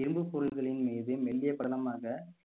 இரும்புப் பொருள்களின் மீது மெல்லிய படலமாக